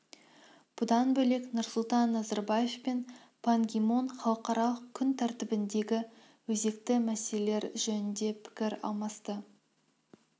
бұдан бөлек нұрсұлтан назарбаев пен пан ги мун халықаралық күн тәртібіндегі өзекті мәселелер жөнінде пікір алмасты